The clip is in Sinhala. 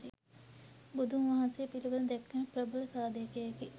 බුදුන් වහන්සේ පිළිබද දැක්වෙන ප්‍රබල සාධකයකි.